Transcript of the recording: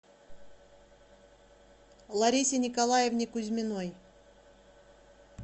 ларисе николаевне кузьминой